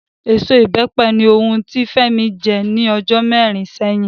Èso Ìbẹ́pẹ ni ohun tí Fẹ́mi jẹ́ ní ọjọ́ mẹ́rin sẹ́yìn